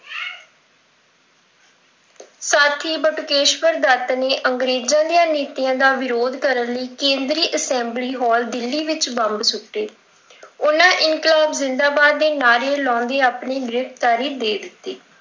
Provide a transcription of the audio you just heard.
ਸਾਥੀ ਬਟੁਕੇਸ਼ਵਰ ਦੱਤ ਨੇ ਅੰਗਰੇਜ਼ਾਂ ਦੀਆਂ ਨੀਤੀਆਂ ਦਾ ਵਿਰੋਧ ਕਰਨ ਲਈ ਕੇਂਦਰੀ ਅੰਸੈਬਲੀ ਹਾਲ ਦਿੱਲੀ ਵਿੱਚ ਬੰਬ ਸੁੱਟੇ, ਉਹਨਾਂ ਇਨਕਲਾਬ ਜਿੰਦਾਬਾਦ ਦੇ ਨਾਅਰੇ ਲਾਉਂਦੇ ਆਪਣੀ ਗ੍ਰਿਫ਼ਤਾਰੀ ਦੇ ਦਿੱਤੀ।